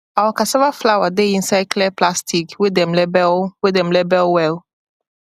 our cassava flour dey inside clear plastic wey dem label wey dem label well